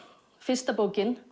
fyrsta bókin